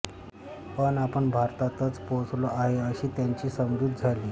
पण आपण भारतातच पोहोचलो आहे अशी त्याची समजूत झाली